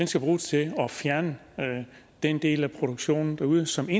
skal bruges til at fjerne den del af produktionen derude som